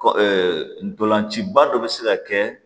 Kɔ ntolan ciba dɔ bɛ se ka kɛ